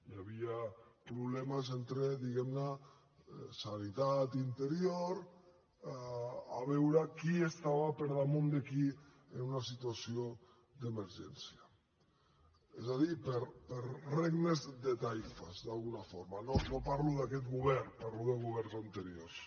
hi havia problemes entre diguem ne sanitat i interior a veure qui estava per damunt de qui en una situació d’emergència és a dir per regnes de taifes d’alguna forma no parlo d’aquest govern parlo de governs anteriors